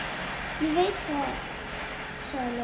Ég veit það, sagði Lóa.